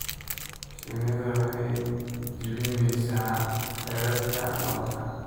Shinnidu waxay jebinaysaa xeerarka malabka.